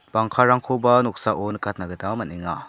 bangkarangkoba noksao nikatna gita man·enga.